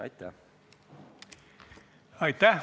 Aitäh!